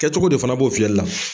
Kɛ cogo de fana b'o fiyɛli la.